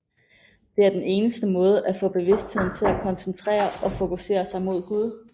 Det er den eneste måde at få bevidstheden til at koncentrere og fokusere sig mod Gud